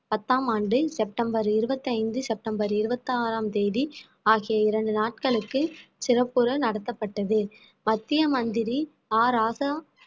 பத்தாம் ஆண்டு செப்டம்பர் இருபத்தி ஐந்து செப்டம்பர் இருபத்தி ஆறாம் தேதி ஆகிய இரண்டு நாட்களுக்கு சிறப்புற நடத்தப்பட்டது மத்திய மந்திரி ஆ ராசா